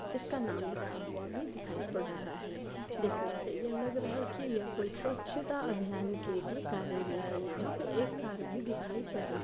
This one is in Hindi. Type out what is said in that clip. उसका नाम भी लिखा हुआ दिखाई पड़ रहा है देखने से लग रहा है यह कोई स्वच्छ अभियान के लिए कार्यालय है यहां पर एक कार भी दिखाई पड़ रहा है।